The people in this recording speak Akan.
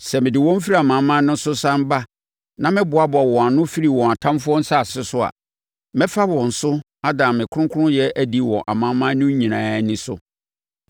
Sɛ mede wɔn firi amanaman no so sane ba na meboaboa wɔn ano firi wɔn atamfoɔ nsase so a, mɛfa wɔn so ada me kronkronyɛ adi wɔ amanaman no nyinaa ani so.